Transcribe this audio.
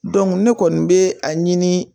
ne kɔni bɛ a ɲini